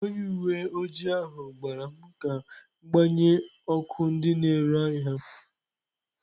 Onye uwe ojii ahụ gwara m ka m gbanye ọkụ ndị na-ere ahịa m.